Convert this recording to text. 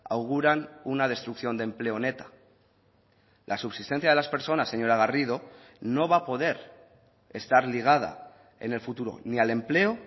auguran una destrucción de empleo neta la subsistencia de las personas señora garrido no va a poder estar ligada en el futuro ni al empleo